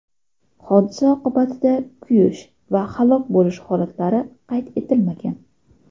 Hodisa oqibatida kuyish va halok bo‘lish holatlari qayd etilmagan.